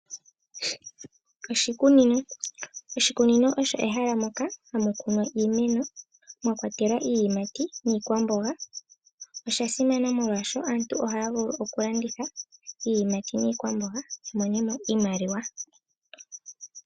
Oshikunino osho ehala moka hamu kunwa iimeno mwakwatelwa iiyimati niikwamboga. Oshasimana oshoka aantu ohaya vulu okulanditha iiyimati niikwamboga ya mone mo iimaliwa.